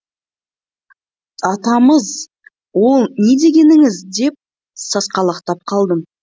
атамыз ол не дегеніңіз деп сасқалақтап қалдым